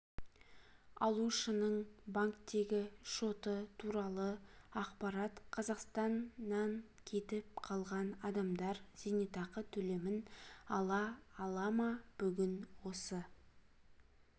алушының банктегі шоты туралы ақпарат қазақстаннан кетіп қалған адамдар зейнетақы төлемін ала ала ма бүгін осы